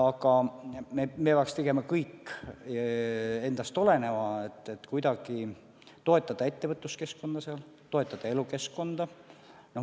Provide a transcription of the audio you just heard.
Aga me peaks tegema kõik endast oleneva, et kuidagi toetada ettevõtluskeskkonda, toetada elukeskkonda ka maapiirkondades.